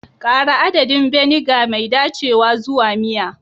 Ƙara adadin vinegar mai dacewa zuwa miya.